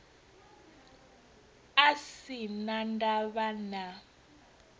a sin a ndavha na